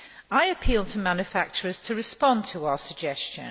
I appeal to manufacturers to respond to our suggestion.